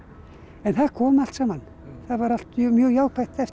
en það kom allt saman það var allt mjög jákvætt eftir